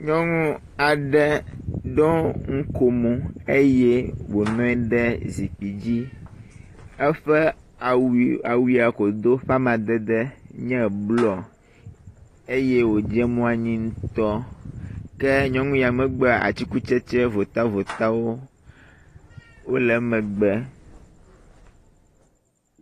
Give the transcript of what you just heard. Nyɔnu aɖe ɖo nukomo eye wònɔ anyi ɖe zikpui dzi, eƒe awu awu ya wòdo ƒe amadede nye blɔ eye wòdze mo anyi ŋutɔ. Ke nyɔnu ya megbea, atikutsetse votavotawo wole emegbe.